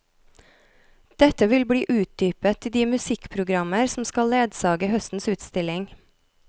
Dette vil bli utdypet i de musikkprogrammer som skal ledsage høstens utstilling.